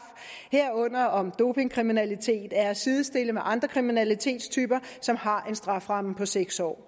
herunder om dopingkriminalitet er at sidestille med andre kriminalitetstyper som har en strafferamme på seks år